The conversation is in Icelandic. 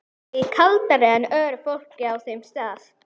Og er kaldara en öðru fólki á þeim stað.